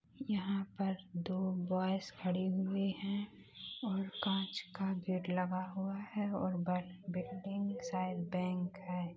यहाँ पर दो बॉयज खड़े हुए हैं और कांच का गेट लगा हुआ है और ब-बिल्डिंग शायद बैंक है।